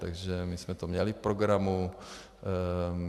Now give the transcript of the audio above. Takže my jsme to měli v programu.